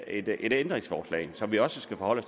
et ændringsforslag som vi også skal forholde